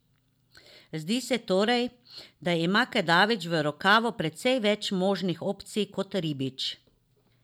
Zdi se torej, da ima Kedačič v rokavu precej več možnih opcij kot Ribič.